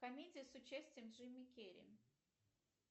комедия с участием джима керри